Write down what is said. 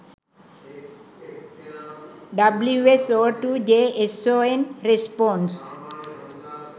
wso2 json response